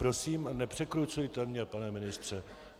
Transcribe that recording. Prosím, nepřekrucujte mě, pane ministře.